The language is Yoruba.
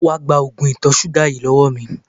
Wá gba oògùn ìtọ̀ ṣúgà yìí lọ́wọ́ mi!